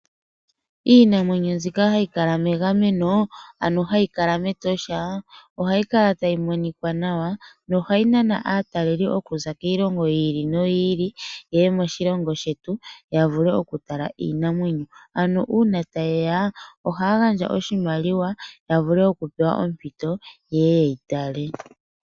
Iinamwenyo mbyika hayikala mengameno ano hayikala metosha ohayi kala tayi monika nawa nohayi nana ataleli okuza kiilongo yili noyili yeye moshilongo shetu yavule oku tala Iinamwenyo, ano una tayeya ohaya gandja oshimaliwa yavule oku pewa ompito yeye yeyitale.